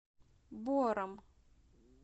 бором